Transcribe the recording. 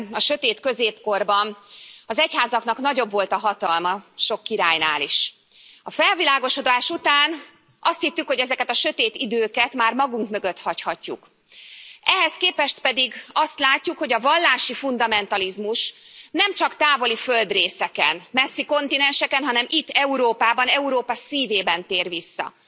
Elnök Úr, Kedves Képviselőtársaim! Valamikor régen, a sötét középkorban, az egyházaknak nagyobb volt a hatalma sok királynál is. A felvilágosodás után azt hittük, hogy ezeket a sötét időket már magunk mögött hagyhatjuk. Ehhez képest pedig azt látjuk, hogy a vallási fundamentalizmus nemcsak távoli földrészeken, messzi kontinenseken, hanem itt, Európában, Európa szívében tér vissza.